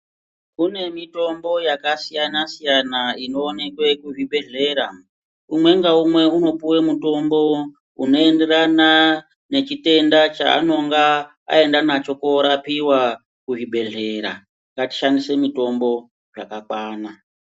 Kune mitombo yakasiyana siyana inoonekwa muzvibhedhlera umwe naumwe unopuwa mutombo unoenderana Nechutenda chanenge aenda nacho korapiwa kuzvibhedhlera ngatiishandise mitombo zvakakwana.